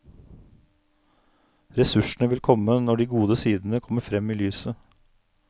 Ressursene vil komme når de gode sidene kommer frem i lyset.